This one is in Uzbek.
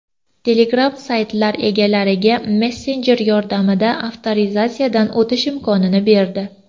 Telegram saytlar egalariga messenjer yordamida avtorizatsiyadan o‘tish imkonini berdi.